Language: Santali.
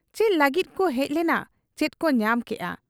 ᱪᱮᱫ ᱞᱟᱹᱜᱤᱫ ᱠᱚ ᱦᱮᱡ ᱞᱮᱱᱟ ᱪᱮᱫᱠᱚ ᱧᱟᱢ ᱠᱮᱜ ᱟ ᱾